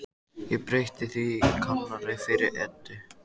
Ég breytti því í Kanarí fyrir Eddu.